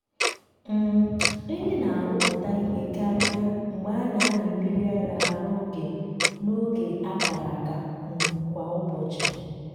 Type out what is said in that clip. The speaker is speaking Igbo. um ehi na-arụpụta ihe karịa mgbe a na-amị mmiri ara ha n’oge n’oge a kara aka um kwa ụbọchị.